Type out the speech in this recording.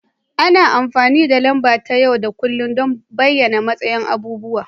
Ana amfani da lamba ta yau da kullun don bayyana matsayin abubuwa